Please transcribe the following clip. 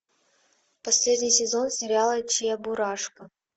последний сезон сериала чебурашка